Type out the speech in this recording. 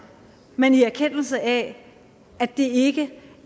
men i erkendelse af at det ikke